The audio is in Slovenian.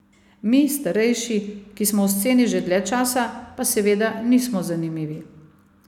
Mi, starejši, ki smo v sceni že dlje časa, pa seveda nismo zanimivi.